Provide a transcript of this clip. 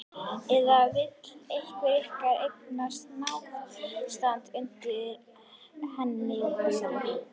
Eða vill einhver ykkar eiga náttstað undir henni þessari?